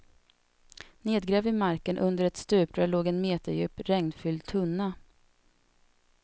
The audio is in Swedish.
Nedgrävd i marken under ett stuprör låg en meterdjup regnfylld tunna.